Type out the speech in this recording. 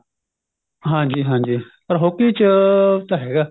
ਹਾਂਜੀ ਹਾਂਜੀ ਪਰ hockey ਚ ਤਾਂ ਹੈਗਾ